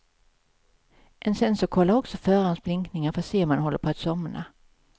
En sensor kollar också förarens blinkningar, för att se om han håller på att somna.